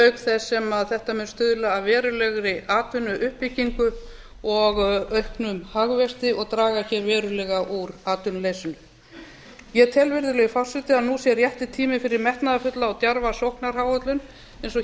auk þess sem þetta mun stuðla að verulegri atvinnuuppbyggingu og auknum hagvexti og draga hér verulega úr atvinnuleysinu ég tel að nú sé rétti tíminn fyrir metnaðarfulla og djarfa sóknaráætlun eins og hér